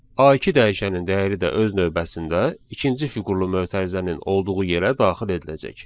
A2 dəyişənin dəyəri də öz növbəsində ikinci fiqurlu mötərizənin olduğu yerə daxil ediləcək.